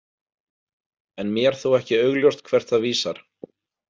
En mér þó ekki augljóst hvert það vísar.